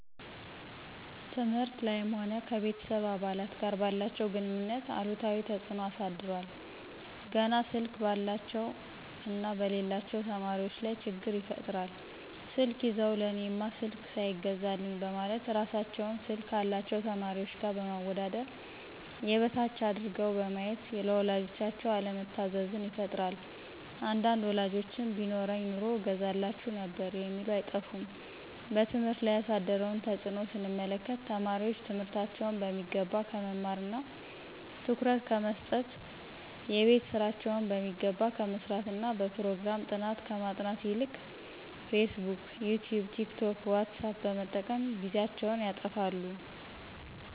ትምህርት ላይም ሆነ ከቤተሰብ አባላት ጋር ባላቸው ግንኙነት አሉታዊ ተጽኖ አሳድሯል። ገና ስልክ ባላቸው እና በሌላቸው ተማሪዎች ላይ ችግር ይፈጥራል ስልክ ይዘው ለእኔማ ስልክ ሳይገዛልኝ በማለት እራሳቸውን ስልክ ካላቸው ተማሪዎች ጋር በማወዳደር የበታች አድርገው በማየት ለወላጆቻቸው አለመታዘዝን ይፈጥራል አንዳንድ ወላጆችም ቢኖረኝ ኑሮ እገዛላችሁ ነበር የሚሉ አይጠፉም። በትምህርት ላይ ያሳደረውን ተጽኖ ስንመለከት ተማሪዎች ትምህርታቸውን በሚገባ ከመማርና ትኩረት ከመሰጠት :የቤት ስራቸውን በሚገባ ከመስራትና በፕሮግራም ጥናት ከማጥናት ይልቅ ፌስቡክ :ይቲዩብ :ቲክቶክ: ዎትሳፕ በመጠቀም ጊዜያቸውን ያጠፋሉ